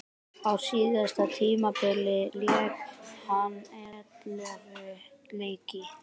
Á síðasta tímabili lék hann ellefu leiki.